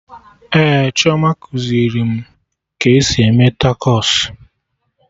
Ee, Chioma kuziri m ka esi eme takos